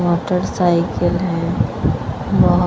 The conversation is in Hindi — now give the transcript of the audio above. मोटर साइकिल है और--